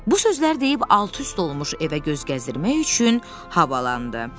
Bu sözləri deyib alt-üst olmuş evə göz gəzdirmək üçün havalandı.